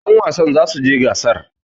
yanwasan za su je gasar!